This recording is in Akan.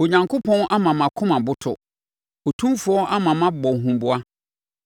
Onyankopɔn ama mʼakoma aboto; Otumfoɔ ama mabɔ huboa.